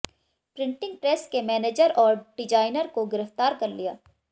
printing press के manager और designer को गिरफ्तार कर लिया